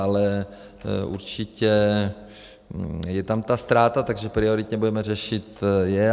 Ale určitě je tam ta ztráta, takže prioritně budeme řešit je.